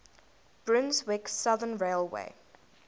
brunswick southern railway